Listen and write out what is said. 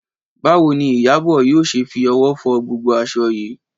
Báwo ni Ìyábọ̀ yóò ṣe fi ọwọ́ fọ gbogbo aṣọ yìí?